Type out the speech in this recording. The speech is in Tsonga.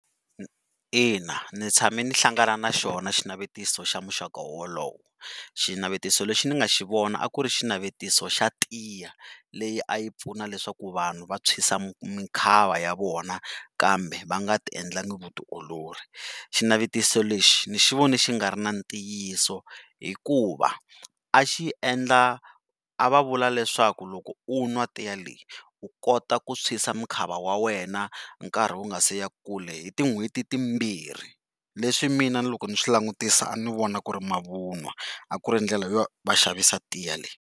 Ina ni tshame ni hlangana na xona xinavetiso xa muxaka wolowo. Xinavetiso lexi ni nga xi vono a ku ri xinavetiso xa tiya leyi a yi pfuna leswaku vanhu va thwisa mikwava ya vona kambe va nga endlanga vutiolori, xinavetiso lexi ni xi vone xi nga ri na ntiyiso hikuva a xi endla a va vula leswaku loko u nwa tiya leyi u kota ku tshwisa mukhava wa wena nkarhi wu nga si ya kule hi tin'hweti timbirhi leswi mina loko ni swi langutisa a ni vona ku ri mavunwa, a ku ri ndlela yo vaxavisa tiya leyi.